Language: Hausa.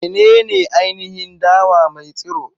Menene ainihin dawa mai tsiro?